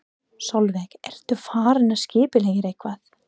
Sólveig: Ertu farin að skipuleggja eitthvað?